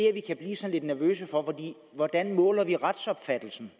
at vi kan blive lidt nervøse for hvordan måler vi retsopfattelsen